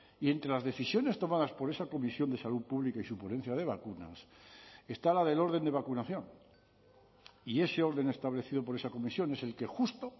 y entre las decisiones tomadas por esa comisión de salud pública y su ponencia de vacunas está la del orden de vacunación y ese orden establecido por esa comisión es el que justo